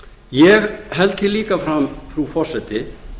ég held því líka fram frú forseti